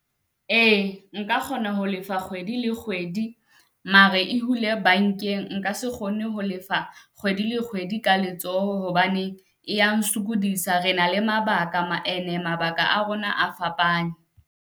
Ee nka kgona ho lefa kgwedi le kgwedi, mare e hule bankeng nka se kgone ho lefa kgwedi le kgwedi ka letsoho, hobane e ya nsokodisa. Re na le mabaka ene mabaka a rona a fapane.